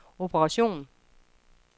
operation